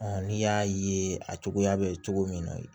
n'i y'a ye a cogoya bɛ cogo min na